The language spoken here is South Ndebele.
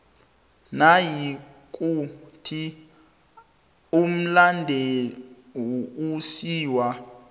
nayikuthi umlandu usiwa